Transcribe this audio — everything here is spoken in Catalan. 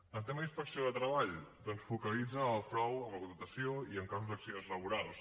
el tema de la inspecció de treball doncs focalitza en el frau en la contractació i en casos d’accidents laborals